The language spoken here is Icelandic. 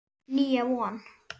Nýja von.